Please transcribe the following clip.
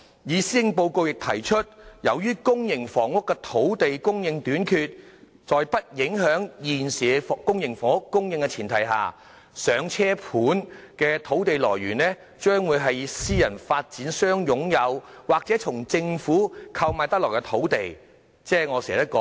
施政報告亦提到，由於公營房屋的土地供應短缺，在不影響現時公營房屋供應的前提下，"上車盤"的土地來源將會是私人發展商擁有，或從政府購買得來的土地，即私人土地。